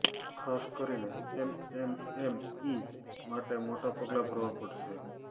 ખાસ કરીને એમએમએમઇ માટે મોટા પગલા ભરવા પડશે